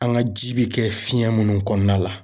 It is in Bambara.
An ga ji bi kɛ fiyɛn minnu kɔnɔna la